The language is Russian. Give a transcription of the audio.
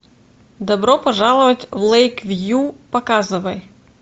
добро пожаловать в лэйквью показывай